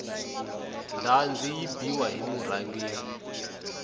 ndhazi yi biwa hi murhangeri